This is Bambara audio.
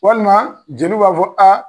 Walima jeliw b'a fɔ